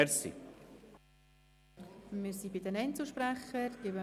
Wir sind nun bei den Einzelsprechern.